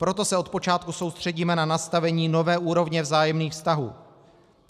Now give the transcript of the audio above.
Proto se od počátku soustředíme na nastavení nové úrovně vzájemných vztahů.